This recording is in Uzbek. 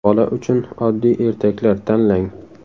Bola uchun oddiy ertaklar tanlang.